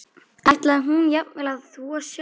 Ætlaði hún jafnvel að þvo sjálf?